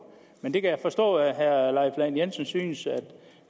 men jeg kan forstå at herre lahn jensen synes at